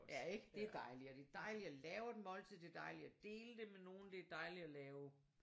Ja ik det er dejligt og det er dejligt at lave et måltid det er dejligt at dele det med nogen det er dejligt at lave